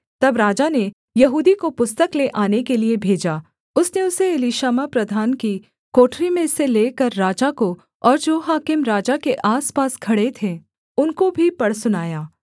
तब राजा ने यहूदी को पुस्तक ले आने के लिये भेजा उसने उसे एलीशामा प्रधान की कोठरी में से लेकर राजा को और जो हाकिम राजा के आसपास खड़े थे उनको भी पढ़ सुनाया